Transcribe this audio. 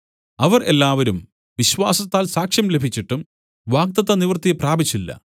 അവർ എല്ലാവരും വിശ്വാസത്താൽ സാക്ഷ്യം ലഭിച്ചിട്ടും വാഗ്ദത്ത നിവൃത്തി പ്രാപിച്ചില്ല